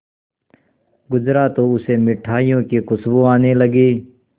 गुजरा तो उसे मिठाइयों की खुशबू आने लगी